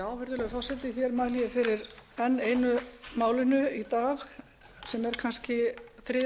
virðulegi forseti ég mæli fyrir enn einu málinu í dag sem er kannski þriðja